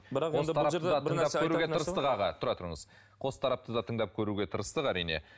бірақ аға тұра тұрыңыз қос тарапты тыңдап көруге тырыстық әрине